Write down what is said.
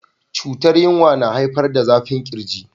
cutar yinwa na haifar da zafin kirji.